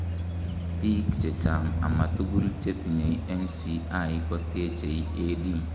biik chechang amatugul, chetinyei MCI kotechei AD